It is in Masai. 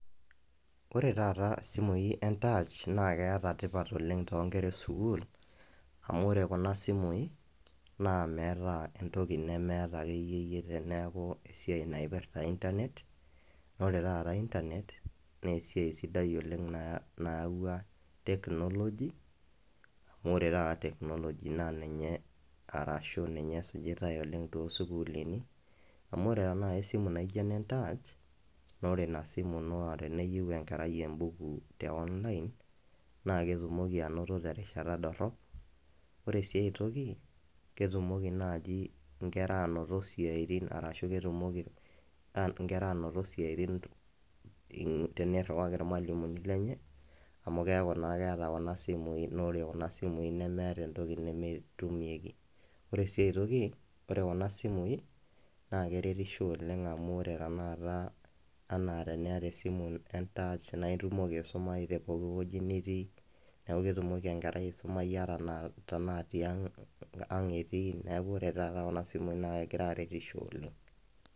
Ore taata isimui entach naa keata tipat oleng' too ikera esukul amu oree kuna simuyi naa meeta entoki nemeyata akee iye yie teneaku esiai naipirrta internet oree taata internet naa esiai sidai oleng' nayawua technology amu ore taata technology naa ninye arashu ninye esijitae oleng' too sukulini amu oree taa naji esimu naijo ena entach naa ore inasimu ino teneyiu enkerai embuku te online naa ketumoki anoto teenadorop ,ore sii ai toki ketumoki naaji inkera aanoto isyaitin arashu ketumoki inkera anoto isyaitin teneiriwaki irmalimuni lenye amu keyaku naa keeta kunasimui naa ore kuna simui nemeeta entoki nemetumieki, oree sii aitoki ore kuna simuyi naa keretisho oleng' amuu ore tanakata enaa teniyata esimu entach naa itumoki aisumayu tee pooki weji nitii neeku ketumoki enkerai aisumayu ata tenaa tiang' etii neeku ore tataa kuna simuyi naa kegira aaretisho oleng' .